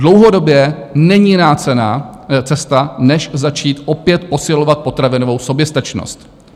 Dlouhodobě není jiná cesta než začít opět posilovat potravinovou soběstačnost.